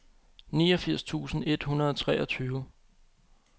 niogfirs tusind et hundrede og treogtyve